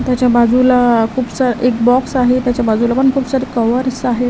त्याच्या बाजूला खूपसा एक बॉक्स आहे त्याच्या बाजूला पण खूप सारे कव्हर्स आहे.